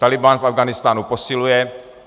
Tálibán v Afghánistánu posiluje.